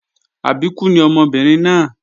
Àbíkú ni ọmọbìnrin náà